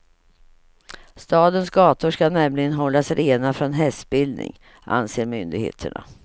Stadens gator ska nämligen hållas rena från hästspillning, anser myndigheterna.